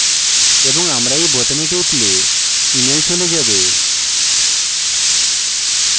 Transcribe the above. এবং আমরা এই বোতামে টিপলে email চলে যাবে